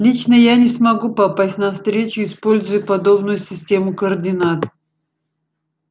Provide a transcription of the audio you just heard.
лично я не смогу попасть на встречу используя подобную систему координат